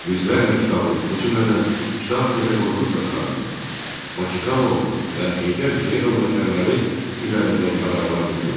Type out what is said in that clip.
Yüzlərlə kitabın, o cümlədən Kitabi Dədə Qorqud Dastanının, Baxıxanovun və Heydər Hüseynovun əsərləri üzərindən qadağalar götürüldü.